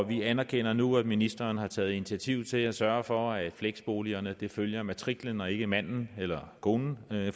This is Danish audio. vi anerkender nu at ministeren har taget initiativ til at sørge for at fleksboligerne følger matriklen og ikke manden eller konen